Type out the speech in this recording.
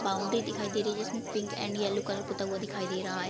Boundary दिखाई दे रही है जिसमे पिंक एंड येलो कलर पुता हुआ दिखाई दे रहा है ।